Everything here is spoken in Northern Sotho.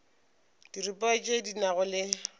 diripa tše di nago le